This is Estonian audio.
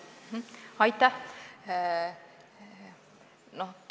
Aitäh!